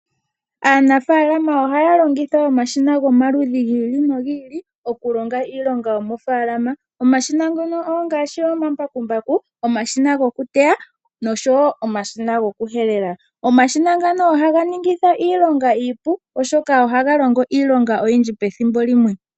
Aanafalama ohaya longitha omashina gomaludhi gi ili nogi ili okulonga iilonga yo mofalama. Omashina ngono ongaashi omambakumbaku, omashina gokuteya noshowo omashina gokuhelela. Omashina ngano ohaga ningitha iilonga iipu oshoka ohaga longo iilonga oyindji pethimbo limwe.